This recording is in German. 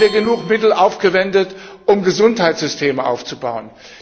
Haben wir genug Mittel aufgewendet, um Gesundheitssysteme aufzubauen?